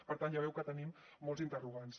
per tant ja veu que tenim molts interrogants